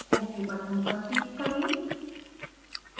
ok button पर click करें